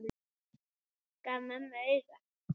Gaf mömmu auga.